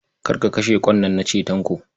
Kar ka kashe ƙwan nan na ce, Tanko.